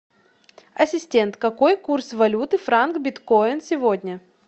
ассистент какой курс валюты франк биткоин сегодня